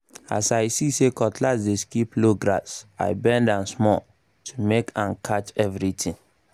as um i see say cutlass dey skip low-low grass i bend am small to make am catch everything